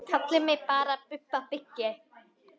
Kallið mig bara Bubba byggi.